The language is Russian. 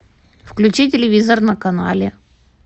включи телевизор на канале